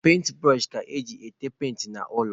Penti bụrọshị ka eji ete penti n'ụlọ.